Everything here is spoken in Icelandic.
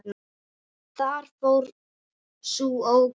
Þar fór sú ógnin.